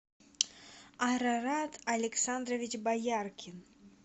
арарат александрович бояркин